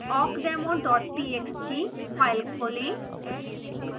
awkdemo txt file खोलें